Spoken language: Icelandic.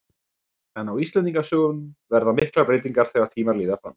En á Íslendingasögum verða miklar breytingar þegar tímar líða fram.